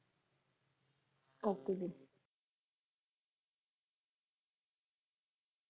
okay ਜੀ